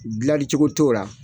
Dilanlicogo t'o la.